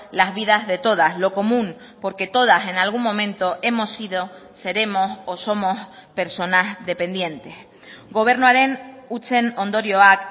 las vidas de todas lo común porque todas en algún momento hemos sido seremos o somos personas dependientes gobernuaren hutsen ondorioak